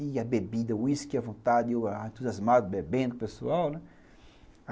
E a bebida, o uísque, a vontade, o entusiasmo bebendo, o pessoal, né.